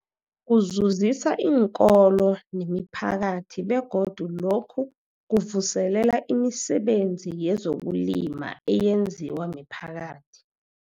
Kuzuzisa iinkolo nemiphakathi begodu lokhu kuvuselela imisebenzi yezokulima eyenziwa miphakathi.